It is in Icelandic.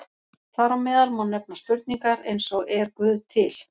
Þar á meðal má nefna spurningar eins og Er Guð til?